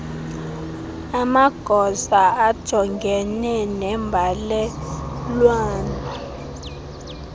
amagosa ajongene nembalelwano